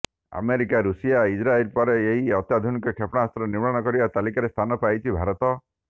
America Russia Israel ପରେ ଏପରି ଅତ୍ୟାଧୁନିକ କ୍ଷେପଣାସ୍ତ୍ର ନିର୍ମାଣ କରିବା ତାଲିକାରେ ସ୍ଥାନ ପାଇଛି ଭାରତ